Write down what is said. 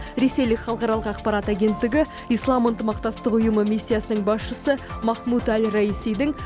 ресейлік халықаралық ақпарат агенттігі ислам ынтымақтастық ұйымы миссиясының басшысы махмуд әл раисидің